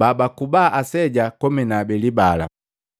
babaikuba aseja komi na abeli bala.”